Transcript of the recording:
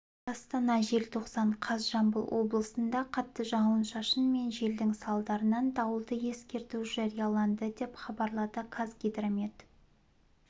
астана желтоқсан қаз жамбыл облысында қатты жауын-шашын мен желдің салдарынан дауылды ескерту жарияланды деп хабарлады қазгидромет